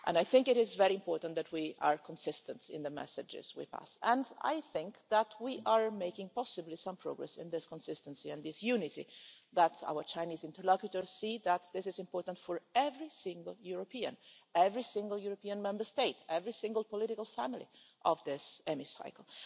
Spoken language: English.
I think it is very important that we are consistent in the messages we pass, and I think that we are making, possibly, some progress in this consistency and this unity, so that our Chinese interlocutors see that this is important for every single European, every single European Member State, every single political family of this Hemicycle.